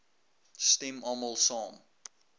stem almal saam